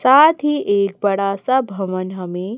साथ ही एक बड़ा सा भवन हमें--